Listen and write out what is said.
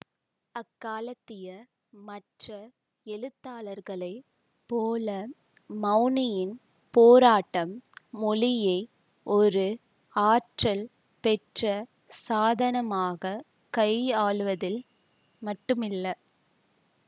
அக்காலத்திய மற்ற எழுத்தாளர்களைப் போல மௌனியின் போராட்டம் மொழியை ஒரு ஆற்றல் பெற்ற சாதனமாகக் கையாளுவதில் மட்டுமில்ல